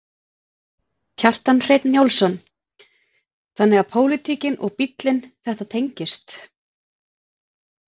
Kjartan Hreinn Njálsson: Þannig að pólitíkin og bílinn, þetta tengist?